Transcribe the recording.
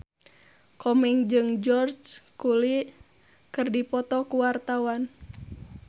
Komeng jeung George Clooney keur dipoto ku wartawan